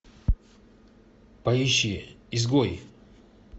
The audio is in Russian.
поищи изгой